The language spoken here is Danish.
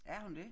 Er hun det?